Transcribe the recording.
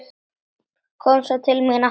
Kom svo til mín aftur.